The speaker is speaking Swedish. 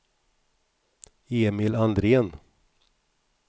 Emil Andrén